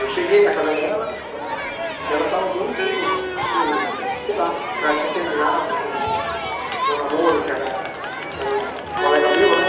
Eu cheguei na casa dela né e ela estava muito, assim, sei lá, que ela tinha terminado com com o namoro que era que era um colega meu, né?